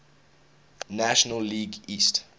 national league east